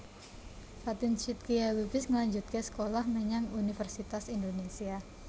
Fatin Shidqia Lubis ngelanjutke sekolah menyang Universitas Indonesia